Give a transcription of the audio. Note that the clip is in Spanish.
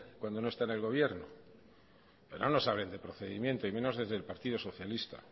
cuando no está en el gobierno pero no nos hablen de procedimiento y menos desde el partido socialista